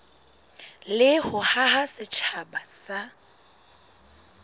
le ho haha setjhaba sa